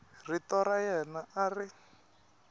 rito ra yena a ri